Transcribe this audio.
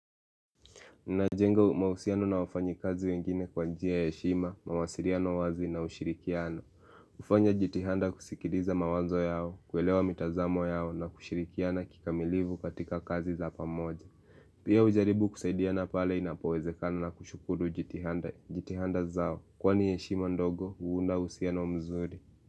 Najenga mahusiano na wafanyi kazi wengine kwa njia ya heshima, mawasiliano wazi na ushirikiano. Hufanya jitihanda kusikiliza mawazo yao, kuelewa mitazamo yao na kushirikiana kikamilivu katika kazi za pamoja. Pia hujaribu kusaidiana pale inapowezekano na kushukuru jitihada zao. Kwani heshima ndogo, huunda uhusiano mzuri.